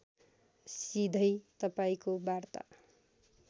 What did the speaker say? सिधै तपाईँको वार्ता